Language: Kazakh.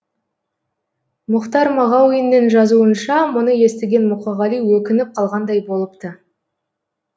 мұхтар мағауиннің жазуынша мұны естіген мұқағали өкініп қалғандай болыпты